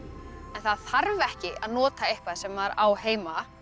það þarf ekki að nota eitthvað sem maður á heima